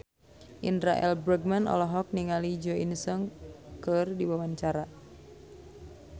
Indra L. Bruggman olohok ningali Jo In Sung keur diwawancara